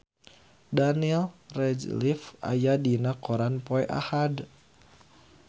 Daniel Radcliffe aya dina koran poe Ahad